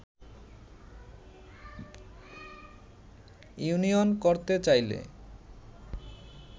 union করতে চাইলে